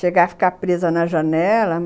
Chegar e ficar presa na janela.